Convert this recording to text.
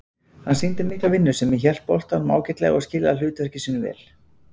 Hann sýndi mikla vinnusemi, hélt boltanum ágætlega og skilaði hlutverki sínu vel.